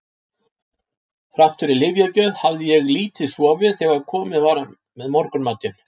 Þrátt fyrir lyfjagjöf hafði ég lítið sofið þegar komið var með morgunmatinn.